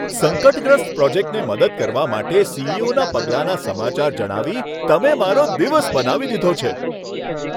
સંકટગ્રસ્ત પ્રોજેક્ટને મદદ કરવા માટે સી.ઇ.ઓ.ના પગલાંના સમાચાર જણાવી તમે મારો દિવસ બનાવી દીધો છે!